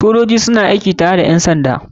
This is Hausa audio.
Sojoji suna aiki tare da ƴansanda